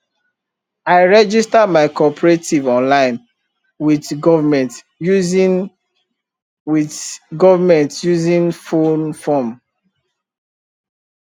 i register my cooperative online with government using with government using phone form